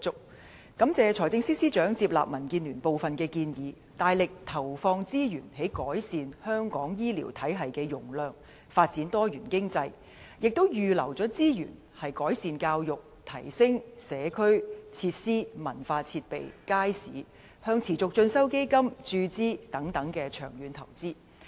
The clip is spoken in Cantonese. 民建聯感謝財政司司長接納我們的部分建議，大力投放資源增加香港醫療體系的容量和發展多元經濟，並且預留資源，在改善教育、提升社區設施、文化設備和街市，以及向持續進修基金注資等方面作出長遠投資。